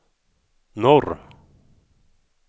norr